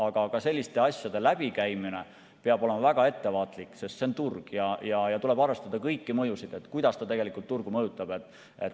Aga ka selliste asjade läbikäimisel peab olema väga ettevaatlik, sest see on turg ja tuleb arvestada kõiki mõjusid, kuidas see tegelikult turgu mõjutab.